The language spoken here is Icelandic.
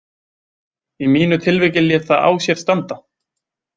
Í mínu tilviki lét það á sér standa.